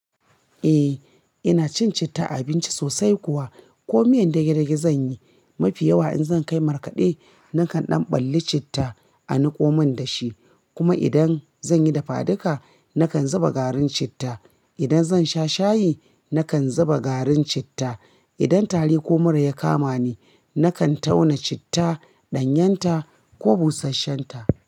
Eh, ina cin citta a abinci sosai kuwa ko miyan dage-dage zan yi, mafi yawa in zan kai markaɗe nakan ɗan balli citta a niƙo mun da shi. Kuma idan zan yi dafaduka nakan zuba garin citta. Idan zan sha shayi nakan zuba garin citta. Idan tari ko mura ya kama ni, nakan tauna citta, ɗanyenta ko busasshen ta.